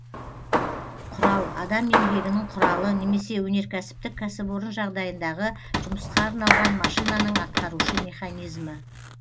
құрал адам еңбегінің құралы немесе өнеркәсіптік кәсіпорын жағдайындағы жұмысқа арналған машинаның атқарушы механизмі